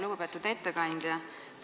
Lugupeetud ettekandja!